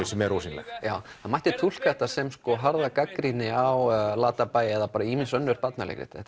sem er ósýnileg mætti túlka þetta sem harða gagnrýni á Latabæ eða ýmiss önnur barnaleikrit þetta